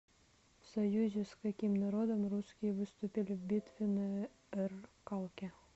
в союзе с каким народом русские выступили в битве на р калке